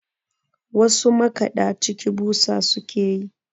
wasu makaɗaciki busa suke yi